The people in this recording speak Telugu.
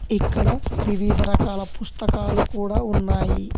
ఇక్కడ వివిధ రకాల పుస్తకాలు కూడా ఉన్నాయి.